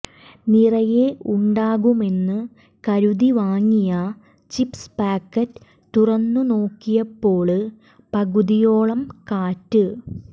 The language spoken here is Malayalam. നിറയെ ഉണ്ടാകുമെന്നു കരുതി വാങ്ങിയ ചിപ്സ് പാക്ക്റ്റ് തുറന്നു നോക്കിയപ്പോള് പകുതിയോളം കാറ്റ്